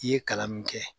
I ye kalan min kɛ